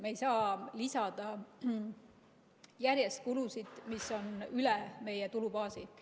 Me ei saa lisada järjest kulusid, mis on üle meie tulubaasi.